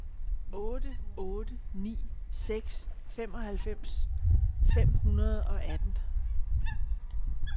otte otte ni seks femoghalvfems fem hundrede og atten